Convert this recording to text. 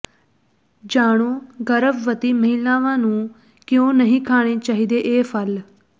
ਜਾਣੋ ਗਰਭਵਤੀ ਮਹਿਲਾਵਾਂ ਨੂੰ ਕਿਉਂ ਨਹੀਂ ਖਾਣੇ ਚਾਹੀਦੇ ਇਹ ਫੱਲ